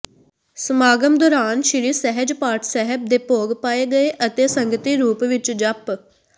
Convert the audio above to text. ਸਮਾਗਮ ਦੌਰਾਨ ਸ੍ਰੀ ਸਹਿਜ ਪਾਠ ਸਾਹਿਬ ਦੇ ਭੋਗ ਪਾਏ ਗਏ ਅਤੇ ਸੰਗਤੀ ਰੂਪ ਵਿਚ ਜਪੁ